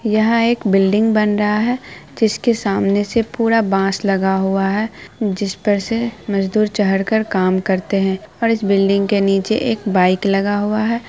यह एक बिल्डिंग बन रहा है जिसके सामने से पूरा बांस लगा हुआ है जिसपर से मजदूर चढ़ के काम करते है और इस बिल्डिंग के नीचे एक बाइक लगा हुआ है।